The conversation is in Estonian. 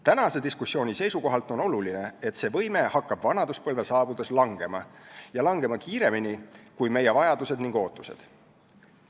Tänase diskussiooni seisukohalt on oluline, et see võime hakkab vanaduspõlve saabudes langema ning kiiremini kui meie vajadused ja ootused.